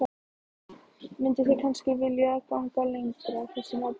Mynduð þið kannski vilja ganga lengra í þessum efnum?